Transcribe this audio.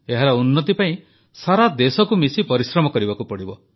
ଏହାର ଉନ୍ନତି ପାଇଁ ସାରା ଦେଶକୁ ମିଶି ପରିଶ୍ରମ କରିବାକୁ ହେବ